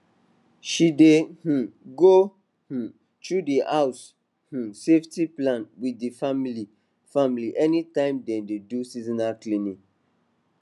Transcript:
she dey um go um through d house um safety plan with d family family anytime dem dey do seasonal cleaning